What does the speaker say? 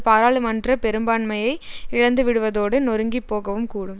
பாராளுமன்ற பெரும்பான்மையை இழந்துவிடுவதோடு நொருங்கிப் போகவும் கூடும்